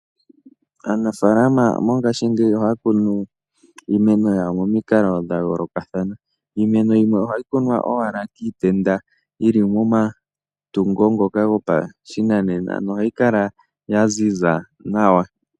Aanafalama mongashingeyi ohayi kunu iimeno yawo momikalo dha yolokathana. Iimeno yimwe ohayi kunwa owala kiitenda yili momatungo ngoka gopashinanena nohayi kala yaziza nawa.